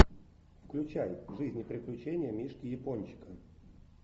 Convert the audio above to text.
включай жизнь и приключения мишки япончика